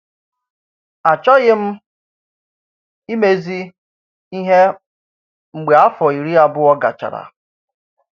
Achọ̀ghị m imezi ihe mgbe afọ iri abụọ gachara….